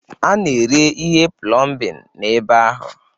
A na-ere ihe plọmbin n'ebe ahụ.